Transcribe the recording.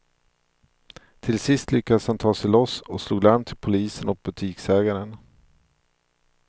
Till sist lyckades han ta sig loss och slog larm till polisen och butiksägaren.